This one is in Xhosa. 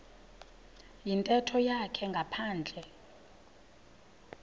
yintetho yakhe ngaphandle